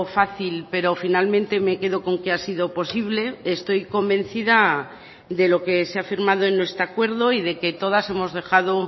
fácil pero finalmente me quedo con que ha sido posible estoy convencida de lo que se ha firmado en nuestro acuerdo y de que todas hemos dejado